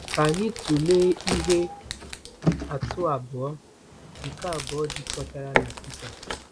Ka anyị tụlee ihe atụ abụọ, nke abụọ jikọtara na Pita.